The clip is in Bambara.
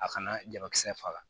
A kana jabakisɛ faga